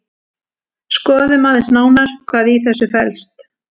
Skoðum aðeins nánar hvað í þessu felst.